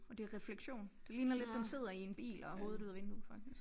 Og det er refleksion det ligner lidt den sidder i en bil og har hovedet ude af vinduet faktisk